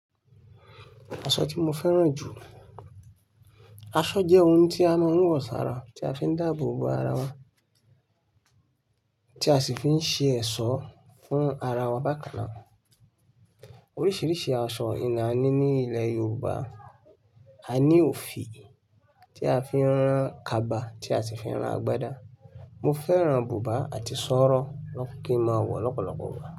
Aṣọ tí mo fẹ́ràn jù. Aṣọ jẹ́ ohun tí a máa ń wọ̀ sára, tí a fi ń dáàbò bo ara wa, tí a sì fi ń ṣe ẹ̀ṣọ́ fún ara wa bákan náà. Oríṣiríṣi aṣọ ìnà ní ní ilẹ̀ Yorùbá. A ní òfì tí a fi ń rán kaba, tí a sì fi ń rán agbádá. Mo fẹ́ràn buba àti sọ̀rọ̀ ló kin máa wọ̀ lọ́pọ̀lọpọ̀ igba.